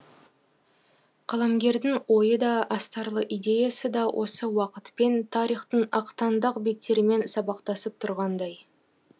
қаламгердің ойы да астарлы идеясы да осы уақытпен тарихтың ақтаңдақ беттерімен сабақтасып тұрғандай